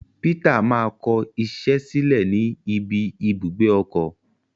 Peter ma kọ iṣẹ sílẹ ní ibi ibùgbé ọkọ.